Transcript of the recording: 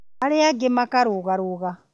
arĩa angĩ makarũgarũga